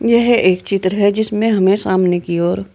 यह एक चित्र है जिसमें हमें सामने की ओर--